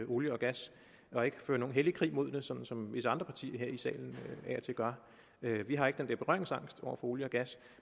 olie og gas og ikke fører nogen hellig krig mod det sådan som visse andre partier her i salen af og til gør vi har ikke den der berøringsangst over for olie og gas